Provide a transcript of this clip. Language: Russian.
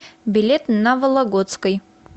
билет на вологодской